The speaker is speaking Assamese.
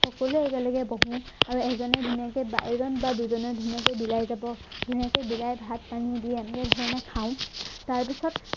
সকলোৱে একেলগে বহো আৰু এজনে ধুনীয়াকে বা এজন বা দুজনে ধুনীয়াকে বিলাই যাব ধুনীয়াকে বিলাই ভাত পানী দি আহি আহি আমি খাও তাৰপাছত